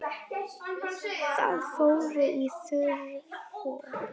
Þau fóru í þurr föt.